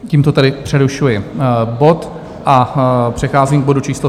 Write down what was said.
Tímto tedy přerušuji bod a přecházím k bodu číslo